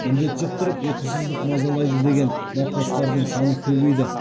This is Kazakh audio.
індет жұқтырып ұйқысыздық мазалайды деген науқастардың саны көбейді